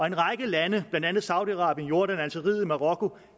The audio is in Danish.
en række lande blandt andet saudi arabien jordan algeriet og marokko